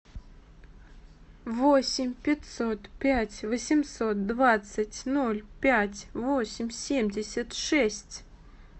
восемь пятьсот пять восемьсот двадцать ноль пять восемь семьдесят шесть